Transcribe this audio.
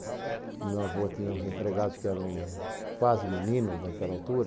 Meu avô tinha uns empregados que eram quase meninos naquela altura.